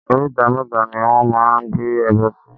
Oríta mẹ́ta ni wọ́n máa ń gbé ẹbọ sí.